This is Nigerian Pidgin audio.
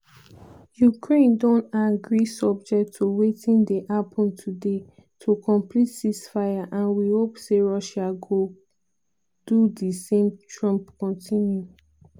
"ukraine don agree subject to wetin dey happun today to complete ceasefire and we hope say russia go do di same" trump continue.